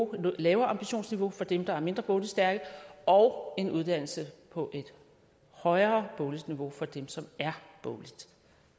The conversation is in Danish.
lavere ambitionsniveau for dem der er mindre bogligt stærke og en uddannelse på et højere bogligt niveau for dem som er bogligt